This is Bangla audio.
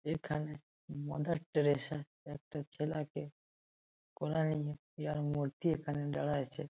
এখানে মাদার টেরেসা একটা ছেলাকে কোলে নিয়ে ইহার মূর্তি এখানে দাঁড়ায় আছে ।